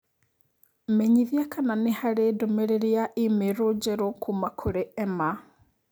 Menyithia kana nĩ harĩ ndũmĩrĩri ya i-mīrū njerũ kuuma kũrĩ Emma